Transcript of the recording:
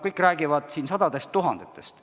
Kõik räägivad sadadest tuhandetest.